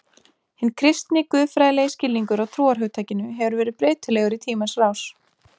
Hinn kristni, guðfræðilegi skilningur á trúarhugtakinu hefur verið breytilegur í tímans rás.